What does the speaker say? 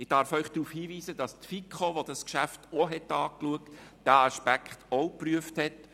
Ich darf Sie darauf hinweisen, dass die FiKo, die dieses Geschäft auch beraten hat, diesen Aspekt ebenfalls geprüft hat.